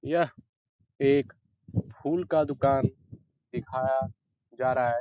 यह एक फूल का दूकान दिखाया जा रहा है।